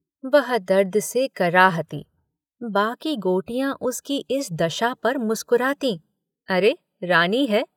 वह दर्द से कराहती बाकी गोटियां उसकी इस दशा पर मुस्करातीं अरे रानी है।